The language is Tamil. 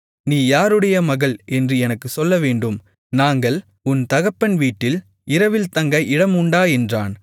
நீ யாருடைய மகள் என்று எனக்குச் சொல்லவேண்டும் நாங்கள் உன் தகப்பன் வீட்டில் இரவில் தங்க இடம் உண்டா என்றான்